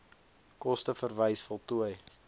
koste verwys voltooi